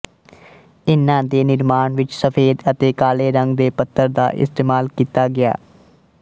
ਇਨ੍ਹਾਂ ਦੇ ਨਿਰਮਾਣ ਵਿੱਚ ਸਫੇਦ ਅਤੇ ਕਾਲੇ ਰੰਗ ਦੇ ਪੱਥਰ ਦਾ ਇਸਤੇਮਾਲ ਕੀਤਾ ਗਿਆ